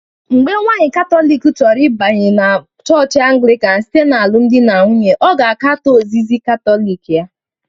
Mgbe nwanyị Katọlik chọrọ ịbanye na chọọchị Anglican site n'alụmdi na nwunye, ọ ga-akatọ ozizi Katọlik ya